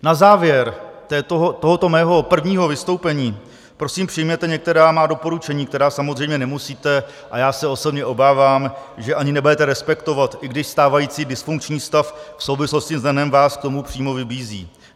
Na závěr tohoto mého prvního vystoupení prosím přijměte některá má doporučení, která samozřejmě nemusíte - a já se osobně obávám, že ani nebudete - respektovat, i když stávající dysfunkční stav v souvislosti s NEN vás k tomu přímo vybízí.